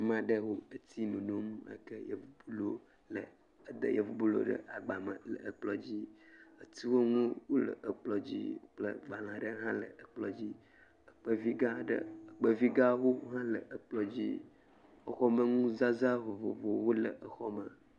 Ama ɖewo eti nom eda yevu bolo ɖe agba me le kplɔ̃ dzi. Etiwɔnu le kplɔ̃ dzi kple gbalẽa ɖe hã le ekplɔ̃ dzi. Ekpevi gã wo le ekplɔ̃ dzi. Exɔ me nuzazã vovovowo le exɔme.